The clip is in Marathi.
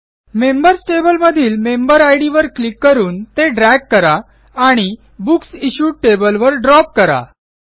मेंबर्स टेबलमधील मेंबेरिड वर क्लिक करून ते ड्रॅग करा आणि बुक्स इश्यूड टेबलवर ड्रॉप करा